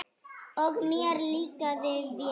Og mér líkaði vel.